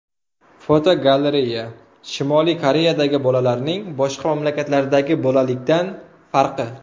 Fotogalereya: Shimoliy Koreyadagi bolalikning boshqa mamlakatlardagi bolalikdan farqi.